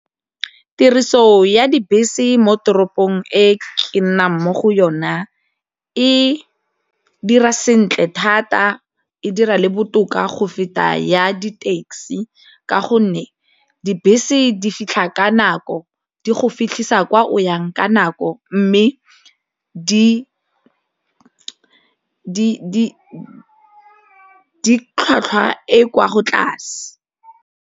Tiriso ya dibese mo toropong e ke nnang mo go yona e dira sentle thata, e dira le botoka go feta ya di-taxi ka gonne dibese di fitlha ka nako di go fitlhisa kwa o yang ka nako mme di tlhwatlhwa e kwa tlase.